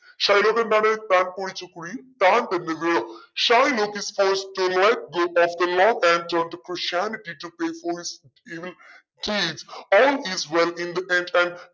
Shylock എന്താണ് താൻ കുഴിച്ച കുഴിയിൽ താൻ തന്നെ വീണു. Shylock is forced to